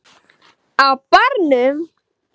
Á barnum!